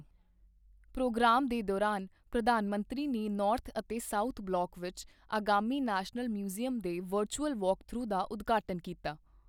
Programme ਦੇ ਦੌਰਾਨ, ਪ੍ਰਧਾਨ ਮੰਤਰੀ ਨੇ ਨੌਰਥ ਅਤੇ ਸਾਊਥ ਬਲਾਕ ਵਿੱਚ ਆਗਾਮੀ ਨੈਸ਼ਨਲ ਮਿਊਜ਼ੀਅਮ ਦੇ ਵਰਚੁਅਲ ਵਾਕਥਰੂ ਦਾ ਉਦਘਾਟਨ ਕੀਤਾ।